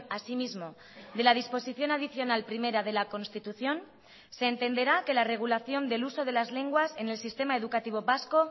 asimismo de la disposición adicional primera de la constitución se entenderá que la regulación del uso de las lenguas en el sistema educativo vasco